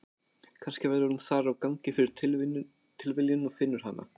Kannski verður hún þar á gangi fyrir tilviljun og finnur hana.